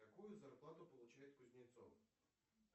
какую зарплату получает кузнецов